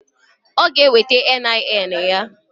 Ọ g'eweta NIN ya.